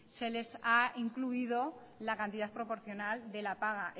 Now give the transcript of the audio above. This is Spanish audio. se les ha incluido la cantidad proporcional de la paga